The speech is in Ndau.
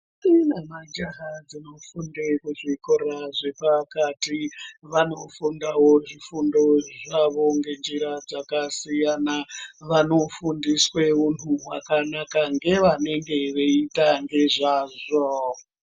Ndombi nemajaha dzinofunde kuzvikoro zvepakati vanofundawo zvifundo zvavo ngenjira dzakasiyana. Vanofundiswe huntu hwakanaka ngevanenge veiita ngezvazvo.